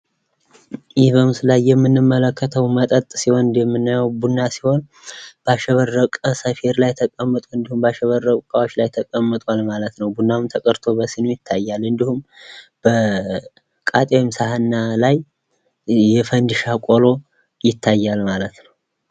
ይህ በምስሉ ላይ የምንመለከተው መጠጥ ሲሆን እንደምናየው ቡና ሲሆን ባሸበረቀ ሰፌድ ላይ ተቀምጦአል እንዲሁም ባሸበረቁ እቃዎች ላይ ተቀምጧል ማለት ነው። ቡናውም ተቀድቶ በስኒ ይታያል እንዲሁም፤ ቃጤምሰሀን ላይ የፈንድሻ ቆሎ ይታያል ማለት ነው።